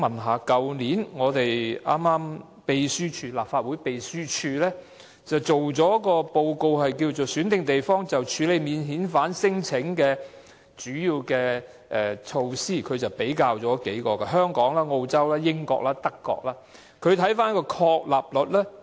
去年，立法會秘書處擬備了一份"選定地方處理免遣返聲請的措施"的資料便覽，比較了香港、澳洲、英國及德國的情況。